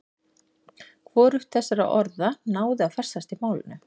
Hvorugt þessara orða náði að festast í málinu.